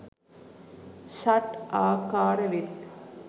ෂට් ආකාර වෙත්.